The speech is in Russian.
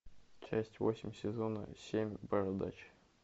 часть восемь сезона семь бородач